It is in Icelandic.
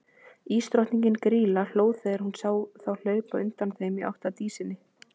Ísdrottningin, Grýla, hló þegar hún sá þá hlaupa undan þeim í átt að Dísinni.